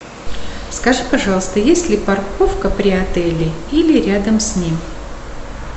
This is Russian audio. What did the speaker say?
скажи пожалуйста есть ли парковка при отеле или рядом с ним